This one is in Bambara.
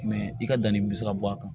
i ka danni bɛ se ka bɔ a kan